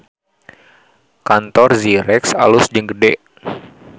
Kantor Zyrex alus jeung gede